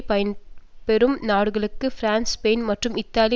பயன்பெறும் நாடுகளுக்கும் France Spain மற்றும் இத்தாலி